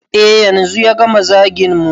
E yanzu ya gama zagin mu